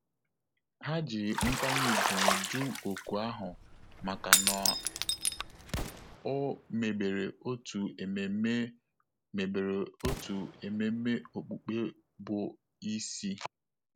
Há jì nkwanye ùgwù jụ́ òkù ahụ màkà na ọ́ mègbèrè otu ememe mègbèrè otu ememe okpukpe bụ́ isi.